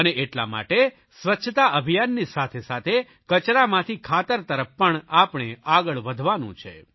અને એટલા માટે સ્વચ્છતા અભિયાનની સાથેસાથે કચરામાંથી ખાતર તરફ પણ આપણે આગળ વધવાનું છે